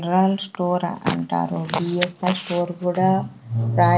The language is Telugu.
--రల్ స్టారా అంటారు వీ_ఎస్_ఆర్ స్టోర్ కూడా రాయ--